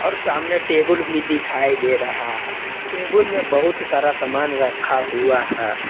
और सामने टेबल भी दिखाई दे रहा है टेबुल में बहुत सारा सामान रखा हुआ है।